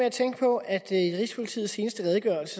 at tænke på at i rigspolitiets seneste redegørelse